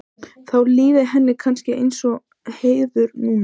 Hvaða áhrif hafa þeirra veiðar á stofnana?